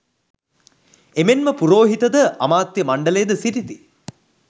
එමෙන්ම පුරෝහිත ද, අමාත්‍ය මණ්ඩලයද සිටිති.